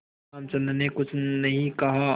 रामचंद्र ने कुछ नहीं कहा